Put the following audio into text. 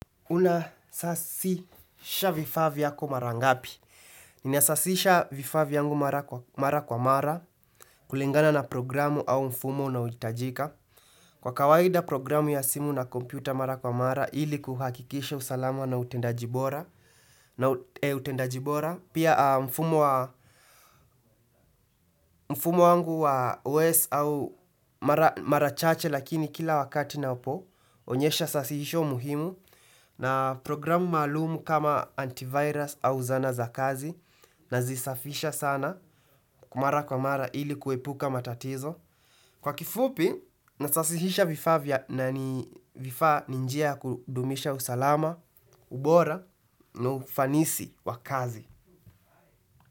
Una sasisha vifaa vyako mara ngapi. Ninasasisha vifaa vyangu mara kwa mara. Kulingana na programu au mfumo unaohitajika kwa kawaida programu ya simu na kompyuta mara kwa mara. Ili kuhakikisha usalama na utendaji bora pia mfumo wangu wa OS au mara chache. Lakini kila wakati na upo. Onyesha sasisho muhimu. Na programu malumu kama antivirus au zana za kazi. Nazisafisha sana mara kwa mara ili kuepuka matatizo. Kwa kifupi, nasasihisha vifaa vya na ni njia kudumisha usalama, ubora, na ufanisi wa kazi.